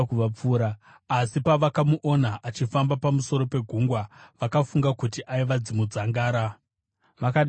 asi pavakamuona achifamba pamusoro pegungwa, vakafunga kuti aiva dzangaradzimu. Vakadanidzira,